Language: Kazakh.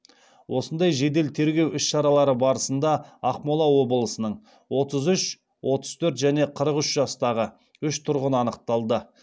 осындай жедел тергеу іс шаралары барысында ақмола облысының отыз үш отыз төрт және қырық үш жастағы үш тұрғыны анықталды